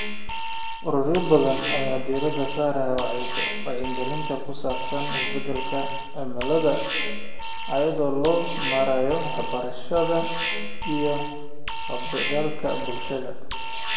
Ururo badan ayaa diiradda saaraya wacyigelinta ku saabsan isbeddelka cimilada iyada oo loo marayo waxbarashada iyo ka qaybgalka bulshada.